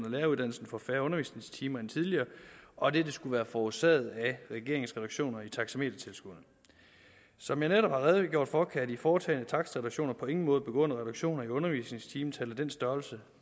og læreruddannelsen får færre undervisningstimer end tidligere og at dette skulle være forårsaget af regeringens reduktioner i taxametertilskuddene som jeg netop har redegjort for kan de foretagne takstreduktioner på ingen måde begrunde reduktioner i undervisningstimetallet af den størrelse